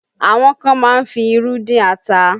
Àwọn kan má ń fi irú dín ata